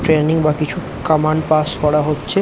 Training বা কিছু command pass করা হচ্ছে ।